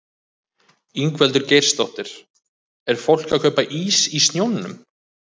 Ingveldur Geirsdóttir: Er fólk að kaupa ís í snjónum?